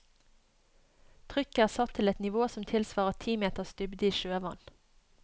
Trykket er satt til et nivå som tilsvarer ti meters dybde i sjøvann.